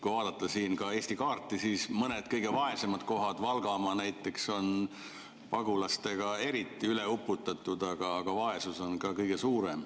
Kui vaadata Eesti kaarti, siis on näha, et mõned kõige vaesemad kohad, näiteks Valgamaa, on pagulastega eriti üle uputatud, aga vaesus on seal ka kõige suurem.